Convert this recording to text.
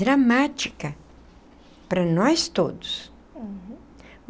dramática para nós todos. Uhum.